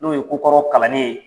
N'o ye kokɔrɔw kalanli ye.